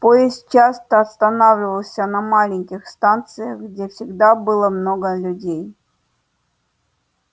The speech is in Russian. поезд часто останавливался на маленьких станциях где всегда было много людей